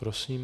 Prosím.